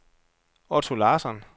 Otto Larsson